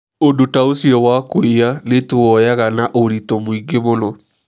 Ũndũ ta ũcio wa kũiya nĩtũũoyaga na ũritũ mũingĩ mũno.